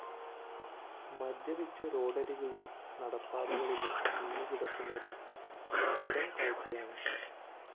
മദ്യപിച്ച് റോഡരികിലും നടപ്പാതകളിലും വീണുകിടക്കുന്നതും സ്ഥിരം കാഴ്ചയാണ്